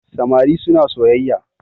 samari suna soyayya